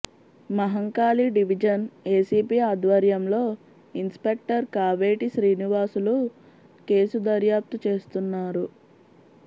Mahankali division ACP ఆధ్వర్యంలో inspector Kaveti Srinivasulu case దర్యాప్తు చేస్తున్నారు